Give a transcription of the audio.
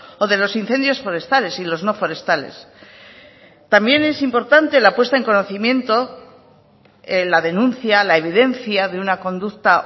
o de los incendios forestales y los no forestales también es importante la puesta en conocimiento la denuncia la evidencia de una conducta